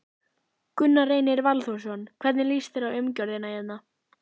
Gunnar Reynir Valþórsson: Hvernig líst þér á umgjörðina hérna?